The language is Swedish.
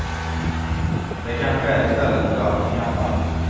Det kanske är istället för allting annat.